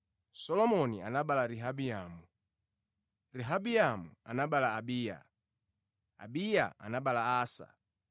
Solomoni anabereka Rehabiamu, Rehabiamu anabereka Abiya, Abiya anabereka Asa,